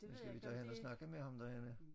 Men skal vi tage hen og snakke med ham derhenne?